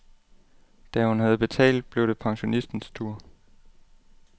Da hun havde betalt, blev det pensionistens tur.